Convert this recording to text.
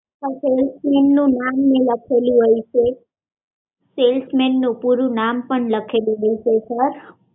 salesman નું નામ લખેલું હોય છે સેલ્સમેન નું પૂરું નામ પણ લખેલું હોય છે